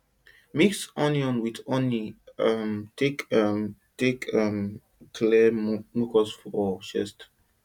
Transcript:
mix onion with honey um take um take um clear mucus for chest